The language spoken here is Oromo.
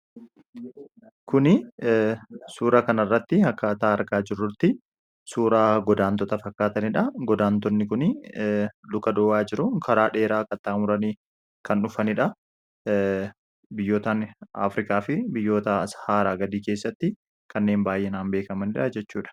Kun suuraa kanarratti akka argaa jirrutti suuraa godaantota fakkaatanidha. Godaantonni kun luka duwwaa jiru karaa dheeraa qaxxaamuranii kan dhufanidha. Biyyoottan afrikaa fi shaaraa gadii keessatti kanneen baay'inaan beekamanidha jechuudha.